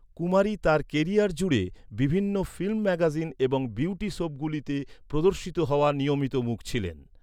কুমারী তার কেরিয়ার জুড়ে বিভিন্ন ফিল্ম ম্যাগাজিন এবং বিউটি সোপগুলিতে প্রদর্শিত হওয়া নিয়মিত মুখ ছিলেন।